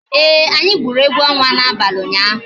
Ee, anyị gwuru egwu ọnwa n'abalị ụnyaahụ